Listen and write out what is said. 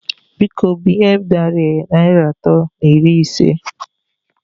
Biko, binye m narị Naịra atọ na iri isé